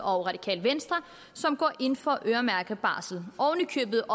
og radikale venstre som går ind for øremærket barsel oven i købet